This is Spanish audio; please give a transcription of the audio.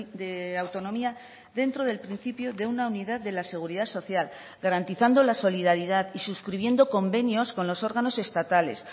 de autonomía dentro del principio de una unidad de la seguridad social garantizando la solidaridad y suscribiendo convenios con los órganos estatales